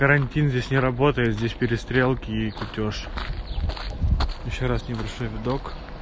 карантин здесь не работают здесь перестрелки и кутёж ещё раз небольшой видок